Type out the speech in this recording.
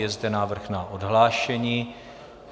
Je zde návrh o odhlášení.